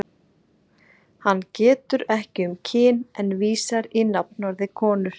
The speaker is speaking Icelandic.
Hann getur ekki um kyn en vísar í nafnorðið konur.